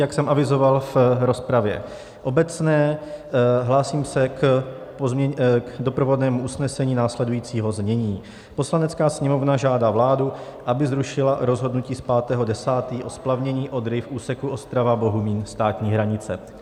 Jak jsem avizoval v rozpravě obecné, hlásím se k doprovodnému usnesení následujícího znění: "Poslanecká sněmovna žádá vládu, aby zrušila rozhodnutí z 5. 10. o splavnění Odry v úseku Ostrava - Bohumín - státní hranice."